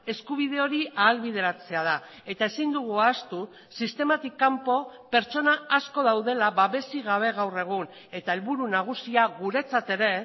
eskubide hori ahalbideratzea da eta ezin dugu ahaztu sistematik kanpo pertsona asko daudela babesik gabe gaur egun eta helburu nagusia guretzat ere